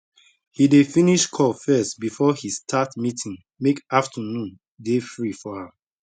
he dey finish call first before he start meeting make afternoon dey free for am